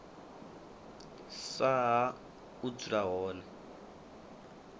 sa ha u dzula hone